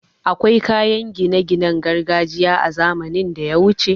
Akwai kayan gine ginen gargajiya a zamanin daya wuce